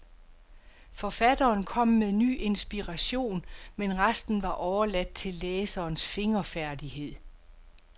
Forfatteren kom med ny inspiration, men resten var overladt til læserens fingerfærdighed.